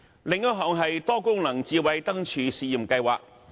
另一項是多功能智慧燈柱試驗計劃。